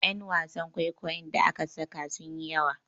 Yan wasan kwaikwayon da aka saka sun yi yawa